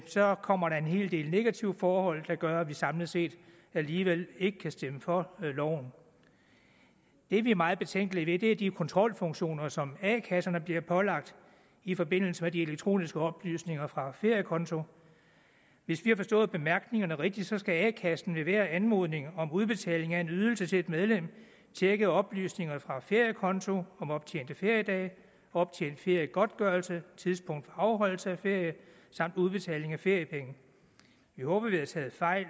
så kommer der en hel del negative forhold der gør at vi samlet set alligevel ikke kan stemme for loven det vi er meget betænkelige ved er de kontrolfunktioner som a kasserne bliver pålagt i forbindelse med de elektroniske oplysninger fra feriekonto hvis vi har forstået bemærkningerne rigtigt skal a kassen levere anmodning om udbetaling af en ydelse til et medlem tjekke oplysningerne fra feriekonto om optjente feriedage optjent feriegodtgørelse tidspunkt for afholdelse af ferie samt udbetaling af feriepenge vi håber at vi har taget fejl